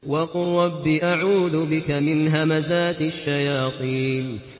وَقُل رَّبِّ أَعُوذُ بِكَ مِنْ هَمَزَاتِ الشَّيَاطِينِ